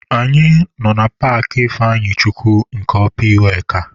Anyị nọ na paakị Ifeanyichukwu nke ọpa iweka..